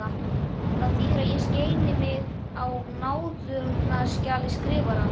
Það þýðir að ég skeini mig á náðunarskjali Skrifarans.